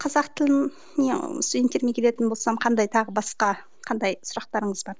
қазақ тіліне студенттеріме келетін болсам қандай тағы басқа қандай сұрақтарыңыз бар